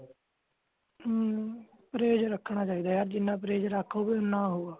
ਹਮ price ਰੱਖਣਾ ਚਾਹੀਦਾ ਹੈ ਜਿਨ੍ਹਾਂ ਪ੍ਰੈਜ ਰੱਖੋਗੇ ਉਨਹਾਂ ਹੋਊਗਾ